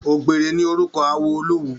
Ògbèré ni orúkọ awo Olówu